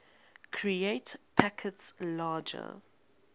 create packets larger